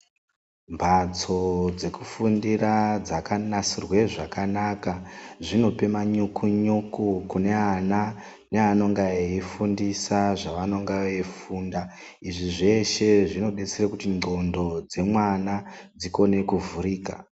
Mphatso dzekufundira, dzakanasirwe zvakanaka, zvinope manyuku-nyuku, kune ana, neanonge veifundisa, zvevanenge veifunda, izvi zveshe zvinodetsera kuti ngqondo dzemwana, dzikone kuvhurika.